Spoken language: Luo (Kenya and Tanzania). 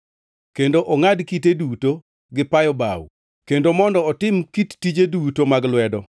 kendo ongʼad kite duto gi payo bao kendo mondo otim kit tije duto mag lwedo.